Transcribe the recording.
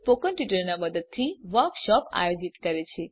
spoken ટ્યુટોરીયલો નાં મદદથી વર્કશોપોનું આયોજન કરે છે